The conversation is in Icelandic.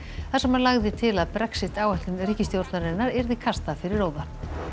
þar sem hann lagði til að Brexit áætlun ríkisstjórnarinnar yrði kastað fyrir róða